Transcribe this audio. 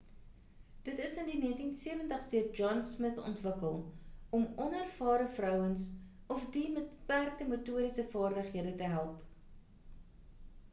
dit is in die 1970’s deur john smith ontwikkel om onervare vouers of die met beperkte motoriese vaardighede te help